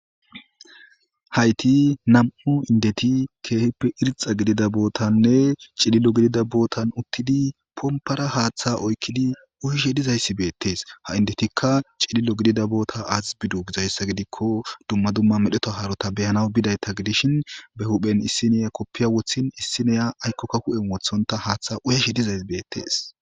hayti nam'u indeti ke'hippe irxa gididda bootanne cilillo gidida bootan uttidi pompara haaththa oyqqidi uyishshe dizayssi beettees ha indetikka cilillo gidida boota azi biddo gizayssa gidikko dumma dumma medhdheta haarota beyanaw bidaytta gidishin be huphphen issiniya koppiya woththin issiniya aykkokka hu'en woththonta haaththa uyashshe dizays beettees